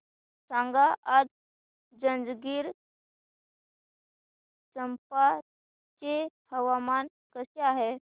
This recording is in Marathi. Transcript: सांगा आज जंजगिरचंपा चे हवामान कसे आहे